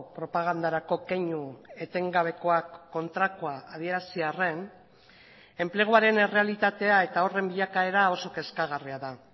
propagandarako keinu etengabekoak kontrakoa adierazi arren enpleguaren errealitatea eta horren bilakaera oso kezkagarria da